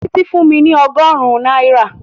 Títí fún mi ọgọ́rùn-ún náírà